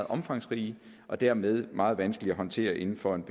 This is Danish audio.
omfangsrige og dermed meget vanskelige at håndtere inden for en